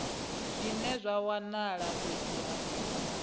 zwine zwa wanala fhethu ha